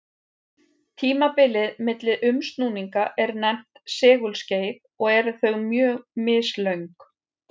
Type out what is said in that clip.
Tímabilið milli umsnúninga er nefnt segulskeið og eru þau mjög mislöng.